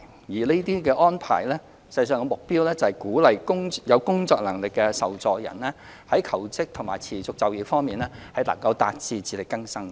有關安排的目標，是鼓勵有工作能力的受助人求職和持續就業，達致自力更生。